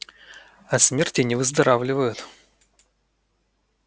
от смерти не выздоравливают